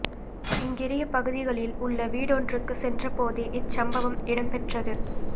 இங்கிரிய பகுதியில் உள்ள வீடொன்றுக்குச் சென்ற போதே இச்சம்பவம் இடம்பெற்றது